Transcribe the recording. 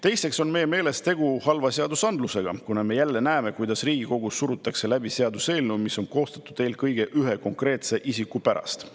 Teiseks on meie meelest tegu halva seadus, kuna me jälle näeme, kuidas Riigikogus surutakse läbi seaduseelnõu, mis on koostatud eelkõige ühe konkreetse isiku pärast.